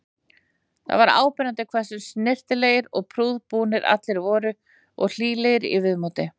Það var áberandi hversu snyrtilegir og prúðbúnir allir voru og hlýlegir í viðmóti.